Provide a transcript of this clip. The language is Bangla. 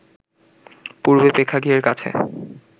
পূরবী প্রেক্ষাগৃহের কাছে